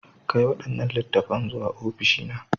Kai waɗannan littattafan zuwa ofishi na.